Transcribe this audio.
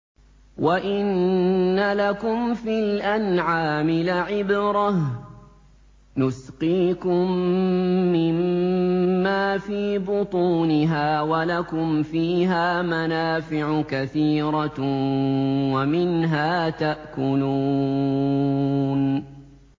وَإِنَّ لَكُمْ فِي الْأَنْعَامِ لَعِبْرَةً ۖ نُّسْقِيكُم مِّمَّا فِي بُطُونِهَا وَلَكُمْ فِيهَا مَنَافِعُ كَثِيرَةٌ وَمِنْهَا تَأْكُلُونَ